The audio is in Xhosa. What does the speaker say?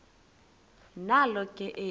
nalo ke eli